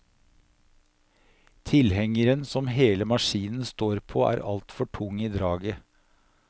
Tilhengeren som hele maskinen står på, er altfor tung i draget.